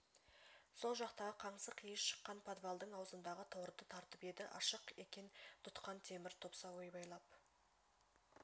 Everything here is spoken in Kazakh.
сол жақтағы қаңсық иіс шыққан подвалдың аузындағы торды тартып еді ашық екен тұтқан темір топса ойбайлап